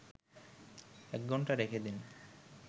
১ ঘণ্টা রেখেদিন